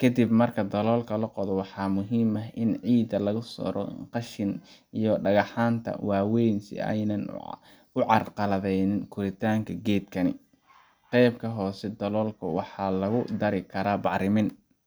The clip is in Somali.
Ka dib marka daloolka la qodo, waxaa muhiim ah in ciidda laga saaro qashinka iyo dhagxaanta waaweyn si aanay u carqaladeyn koritaanka geedka. Qeybta hoose ee daloolka waxaa lagu dari karaa bacrimin